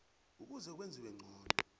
ukuze kwenziwe ngcono